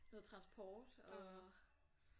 Noget transport og